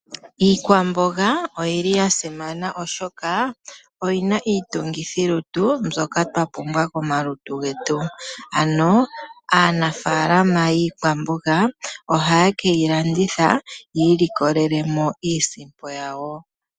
Iikwamboga oyili ya simana oshoka oyina Iitungithilutu mbyoka twapumbwa komalutu getu ano aanafaalama yiikwamboga oha ye keyilanditha yi ilikolele iisimpo yawo.